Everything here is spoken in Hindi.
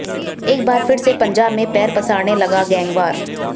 एक बार फिर से पंजाब में पैर पसारने लगा गैंगवार